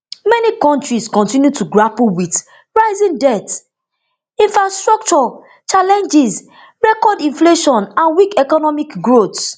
many kontris continue to grapple wit rising debts infrastructure challenges record inflation and weak economic growth